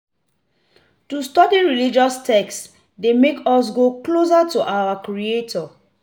To study religious text de make us go closer to our creator